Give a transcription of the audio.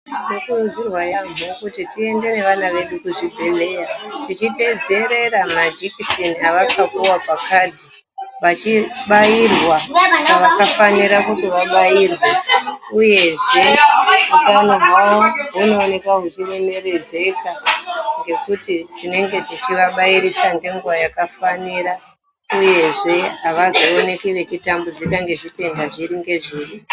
Tinokurudzirwa yaambo kuti tiende nevana vedu kuzvibhedhleya. Tichitedzerera majekiseni avakapuva pakadhi vachibairwa pakafanira kuti vabairwe, uyezve utano hwavo hunoneka huchiremeredzeka. Ngekuti tinenge tichivabairisa ngenguva yakafanira, uyezve havazooneki vechitambudzika ngezvitenda zviri ngezviri.